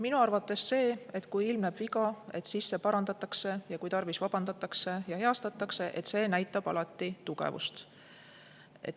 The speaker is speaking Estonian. Minu arvates see, kui ilmneb viga ja see parandatakse ja kui tarvis, vabandatakse ja heastatakse, näitab alati tugevust.